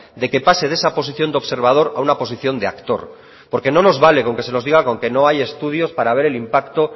de que pase de esa posición de observador a una posición de actor porque no nos vale con que se nos diga con que no hay estudios para ver el impacto